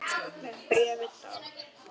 Með bréfi dags.